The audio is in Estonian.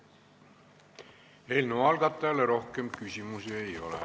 Eelnõu algatajale rohkem küsimusi ei ole.